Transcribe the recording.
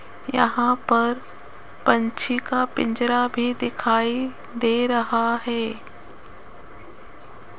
यहां पर पंछी का पिंजरा भी दिखाई दे रहा है।